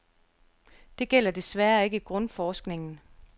Det gælder desværre ikke grundforskningen.